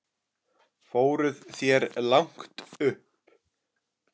Fóruð þér langt upp?